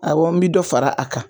Awɔ n bi dɔ fara a kan